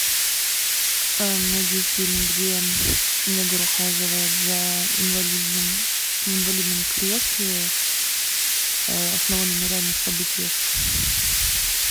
найди фильм где негр ухаживает за инвалидом в инвалидном кресле основанный на реальных событиях